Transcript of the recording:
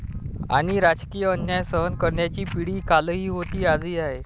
आणि राजकीय अन्याय सहन करणारी पिढी कालही होती आजही आहे.